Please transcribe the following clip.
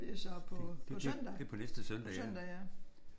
Det det er på næste søndag ja